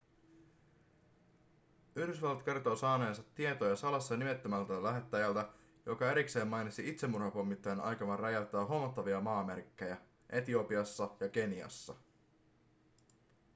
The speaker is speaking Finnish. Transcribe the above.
yhdysvallat kertoo saaneensa tietoja salassa nimeämättömältä lähteeltä joka erikseen mainitsi itsemurhapommittajien aikovan räjäyttää huomattavia maamerkkejä etiopiassa ja keniassa